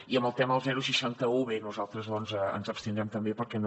i en el tema del seixanta un bé nosaltres doncs ens abstindrem també perquè no